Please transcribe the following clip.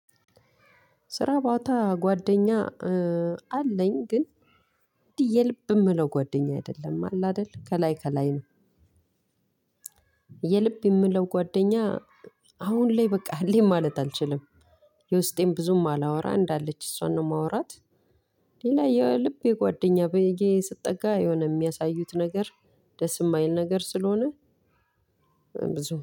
ስራ ቦታ ጓደኛ አለኝ ግን የልብ የምለው ጓደኛ አይደለም አለ አይደል ከላይ ከላይ ነው። የልብ የምለው ጓደኛ አሁን ላይ በቃ አለኝ ማለት አልችልም። የውስጤን ብዙም አላወራ እንዳለች እሷን ነው የማወራት። ሌላ የልቤ ጓደኛ ብዬ ስጠጋ የሆነ የሚያሳዩት ነገር ደስ የማይል ነገር ስለሆነ። ብዙ